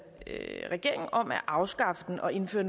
regering om at afskaffe den og indføre